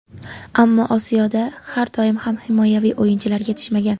Ammo Osiyoda har doim ham himoyaviy o‘yinchilar yetishmagan.